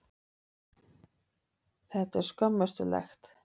Þetta er skömmustulegt.